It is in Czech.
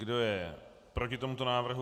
Kdo je proti tomuto návrhu?